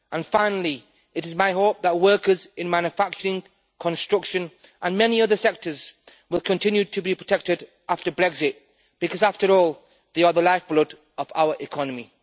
Finally, it is my hope that workers in manufacturing, construction and many other sectors will continue to be protected after Brexit because, after all, they are the lifeblood of our economy.